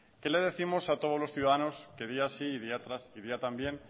qué le décimos a todos los ciudadanos que día sí y día también